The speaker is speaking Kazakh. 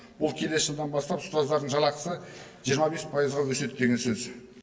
бұл келесі жылдан бастап ұстаздардың жалақысы жиырма бес пайызға өседі деген сөз